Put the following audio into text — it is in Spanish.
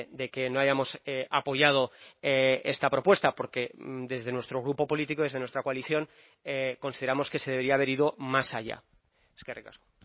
de que no hayamos apoyado esta propuesta porque desde nuestro grupo político desde nuestra coalición consideramos que se debería haber ido más allá eskerrik asko